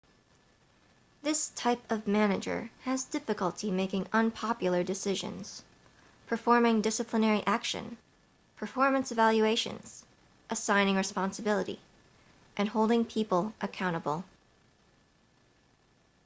this type of manager has difficulty making unpopular decisions performing disciplinary action performance evaluations assigning responsibility and holding people accountable